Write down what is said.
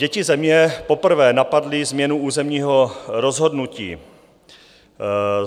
Děti Země poprvé napadly změnu územního rozhodnutí.